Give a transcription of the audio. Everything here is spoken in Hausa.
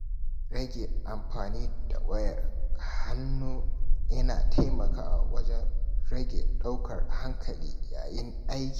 Rage amfani da wayar hannu yana taimakawa wajen rage ɗaukar hankali yayin aiki.